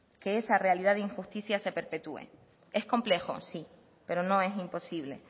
que esa realidad de injusticias se perpetúen es complejo sí pero no es imposible